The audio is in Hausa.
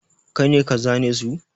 Kai ne ka zane su?